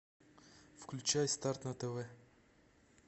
включай старт на тв